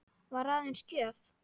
Var aðeins gjöf.